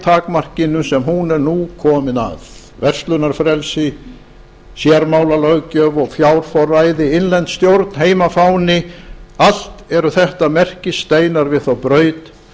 takmarkinu sem hún nú er komin að verslunarfrelsi sérmálalöggjöf og fjárforræði innlend stjórn heimafáni allt eru þetta merkissteinar við þá braut